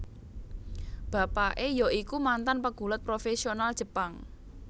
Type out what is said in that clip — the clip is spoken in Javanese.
Bapake ya iku mantan pegulat profesional Jepang